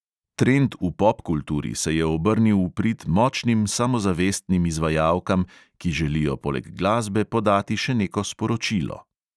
Trend v popkulturi se je obrnil v prid močnim samozavestnim izvajalkam, ki želijo poleg glasbe podati še neko sporočilo.